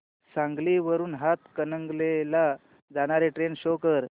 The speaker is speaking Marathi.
सांगली वरून हातकणंगले ला जाणारी ट्रेन शो कर